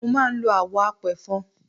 Mo máa ń lo àwọ̀ apẹ̀fọn.